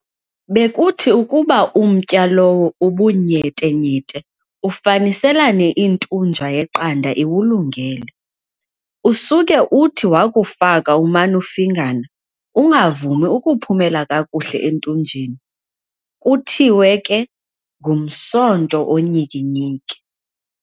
Bekuthi ukuba umtya lowo ubunyetenyete, ufaniselane intunja yeqanda iwulungele, usuke uthi wakufaka uman'ufingana, ungavumi ukuphumela kakuhle entunjeni, kuthiwe ke, "ngumsonto onyikinyiki".